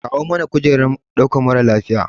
Kawo mana kujerar ɗaukar mara lafiya.